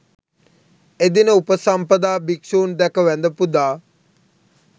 එදින උපසම්පදා භික්‍ෂූන් දැක වැඳ පුදා